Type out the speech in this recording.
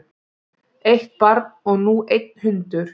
Eitt barn og nú einn hundur